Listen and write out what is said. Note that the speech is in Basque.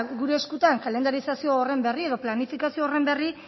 gure eskuetan kalendarizazio horren berri edo planifikazio horren berri